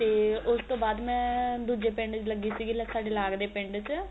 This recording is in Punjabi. ਤੇ ਉਸ ਤੋਂ ਬਾਅਦ ਮੈਂ ਦੂਜੇ ਪਿੰਡ ਲੱਗੀ ਸੀਗੀ ਸਾਡੇ ਲਾਗਦੇ ਪਿੰਡ ਚ